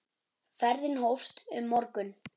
Ferðin hófst um morgun.